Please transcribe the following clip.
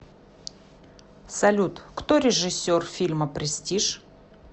салют кто режиссер фильма престиж